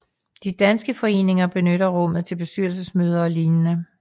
De danske foreninger benytter rummet til bestyrelsesmøder og lignende